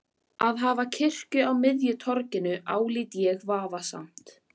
Að hafa kirkju á miðju torginu álít ég vafasamt.